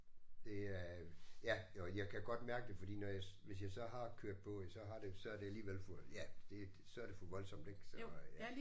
Det er. Ja jo jeg kan godt mærke det fordi når jeg hvis jeg så har kørt på ja så har det så er det alligevel for ja det så er det får voldsomt ik så øh